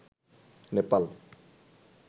Nepal